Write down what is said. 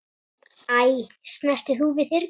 Æ, snertir þú við þyrni?